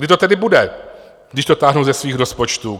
Kdy to tedy bude, když to táhnou ze svých rozpočtů?